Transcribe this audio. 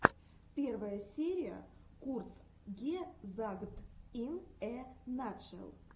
первая серия курцгезагт ин э натшел